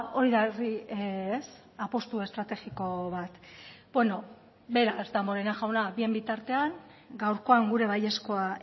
hori da herri apustu estrategiko bat beraz damborenea jauna bien bitartean gaurkoan gure baiezkoa